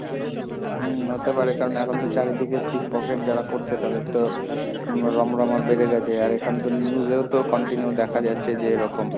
হম, হতে পারে, কারণ এখন তো চারিদিকে pickpocket যারা করছে তাদের তো রমরমা বেড়ে গেছে, আর এখানে তো news এও তো continue দেখা যাচ্ছে যে এরকম,